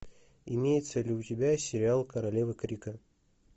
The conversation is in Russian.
имеется ли у тебя сериал королева крика